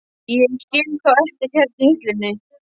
Ég skil þá eftir hérna á hillunni.